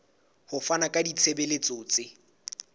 ho fana ka ditshebeletso tse